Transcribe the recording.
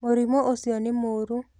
Mũrimũ ũcio nĩ mũoru.